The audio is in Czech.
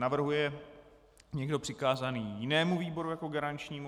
Navrhuje někdo přikázání jinému výboru jako garančnímu?